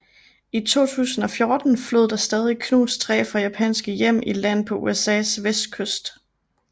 I 2014 flød der stadig knust træ fra japanske hjem i land på USAs vestkyst